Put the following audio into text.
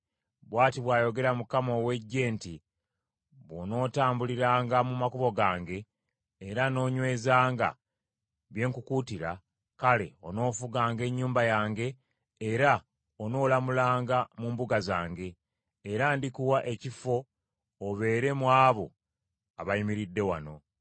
“Bw’ati bw’ayogera Mukama ow’Eggye nti, ‘Bw’onootambuliranga mu makubo gange, era noonywezanga bye nkukuutira, kale, onoofuganga ennyumba yange era onoolamulanga mu mbuga zange, era ndikuwa ekifo obeere mu abo abayimiridde wano.